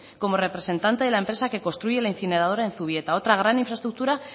como representante de la empresa que construye la incineradora en zubieta otra gran infraestructura